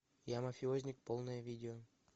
я мафиозник полное видео